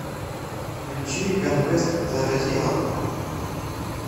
включи ганвест заразила